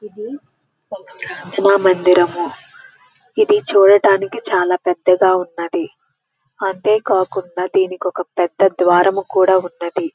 ఇది కల మందిరము. ఇది చుడానికి చాల పెద్దదిగా ఉన్నది. అంటే కాకుండా దీనికి ఒక ద్వారము కూడా ఉన్నది.